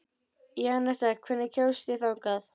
Janetta, hvernig kemst ég þangað?